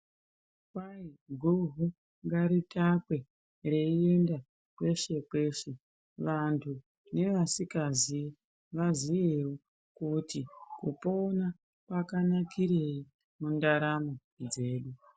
Kwai goho ngaritakwe reienda kweshe kweshe vantu nevasikazivi vazivewo kuti kupona kwakanakirei mundaramo dzedu.